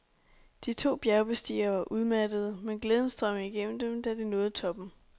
De to bjergbestigere var udmattede, men glæden strømmede igennem dem, da de nåede toppen.